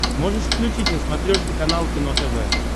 можешь включить на смотрешке канал кино тв